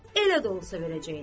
elə də olsa verəcəklər.